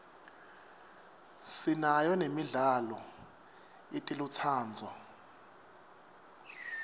sinayo nemidlalo yetelutsandvo